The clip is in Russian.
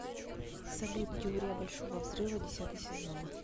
салют теория большого взрыва десятый сезон